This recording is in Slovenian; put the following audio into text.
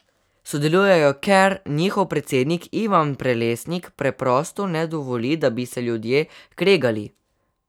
Sodelujejo, ker njihov predsednik, Ivan Prelesnik, preprosto ne dovoli, da bi se ljudje kregali.